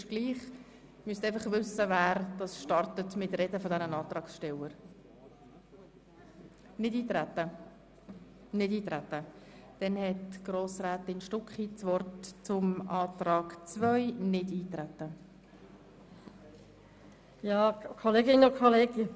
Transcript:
So sind die Zahlen ohne Berücksichtigung der Steuergesetzvorlage darzustellen, da das Steuergesetz noch nicht in Kraft ist und es ist auf jene Abbaumassnahmen zu verzichten, welche einen Leistungsabbau bedeuten.